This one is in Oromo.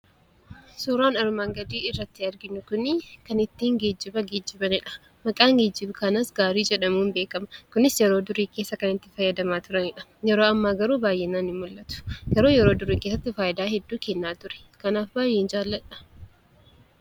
Suuraan armaan gadii irratti arginu kun kan ittiin geejjiba geejjibaniidha. Maqaan geejjiba kanaas gaarii jedhamuun beekama. Kunis yeroo durii keessa kan itti fayyadamaa turanidha Yeroo ammaa garuu baay'inaan hin mul'atu. Yeroo durii keessatti fayidaa hedduu kennaa ture kanaaf baay'ee jaalladha.